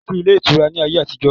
Kòsí ilé ìtura ni ayé àtijọ́.